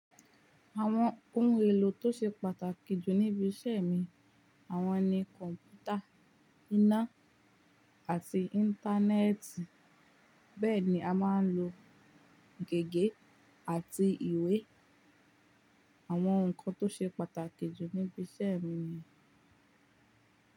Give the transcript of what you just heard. Àwọn ohun èlò tó ṣe pàtàkì jù níbi iṣẹ́ mi, àwọn ni kọ̀ǹpútà, iná àti Íńtánẹ́ẹ̀tì, bẹ́ẹ̀ ni a má ń lo gègé àti ìwé. Àwọn nǹkan tó ṣe pàtàkì jù níbi iṣẹ́ mi ni.